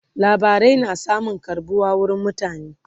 labarai na samun karbuwa wurin mutane